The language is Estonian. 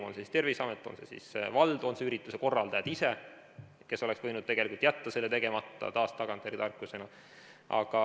On see siis Terviseamet, on see siis vald, on need ürituse korraldajad ise, kes oleks võinud jätta selle tegemata – taas on see tagantjärele tarkus.